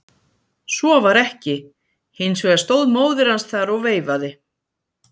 Svo var ekki, hins vegar stóð móðir hans þar og veifaði.